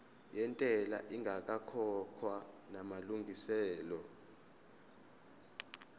yentela ingakakhokhwa namalungiselo